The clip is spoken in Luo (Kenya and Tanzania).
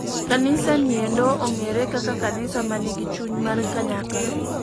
Kabisa niendo ong'ere kaka kanisa manigi chuny mar kanyakla.